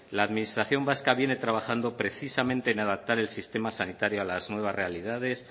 la administración vasca viene trabajando precisamente en adaptar el sistema sanitario a las nuevas realidades